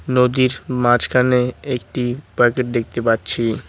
নদীর মাঝখানে একটি প্যাকেট দেখতে পাচ্ছি।